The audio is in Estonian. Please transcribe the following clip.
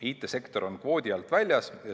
IT‑sektor on kvoodi alt väljas.